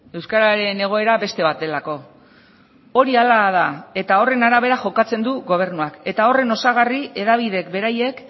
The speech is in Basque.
euskararen egoera beste bat delako hori hala da eta horren arabera jokatzen du gobernuak eta horren osagarri hedabideek beraiek